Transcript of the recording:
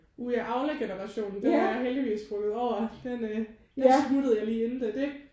Uh ja Aula generationen den er jeg heldigvis spruget over. Den øh der smuttede jeg lige inden det